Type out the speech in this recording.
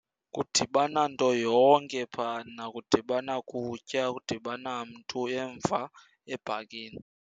Kudibana nto yonke phana. Kudibana kutya, kudibana mntu emva ebhakini.